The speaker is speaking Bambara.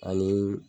Ani